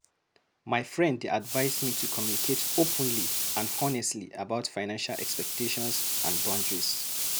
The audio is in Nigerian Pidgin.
My friend dey advise me to communicate openly and honestly about financial expectations and boundaries.